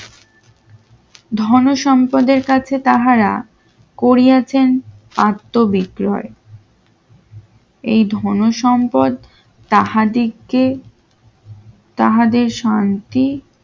ধন সম্পদের কাছে তাহারা করিয়াছেন আত্মবিশ্বরে এই ধনসম্পদ তাহাদিকে তাহাদের শান্তি